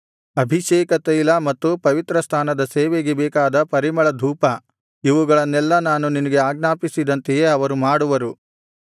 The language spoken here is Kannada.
ಅಭಿಷೇಕತೈಲ ಮತ್ತು ಪವಿತ್ರಸ್ಥಾನದ ಸೇವೆಗೆ ಬೇಕಾದ ಪರಿಮಳಧೂಪ ಇವುಗಳನ್ನೆಲ್ಲಾ ನಾನು ನಿನಗೆ ಆಜ್ಞಾಪಿಸಿದಂತೆಯೇ ಅವರು ಮಾಡುವರು